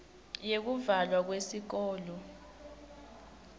yekuvalwa kweyikolo